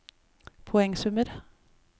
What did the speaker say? poengsummer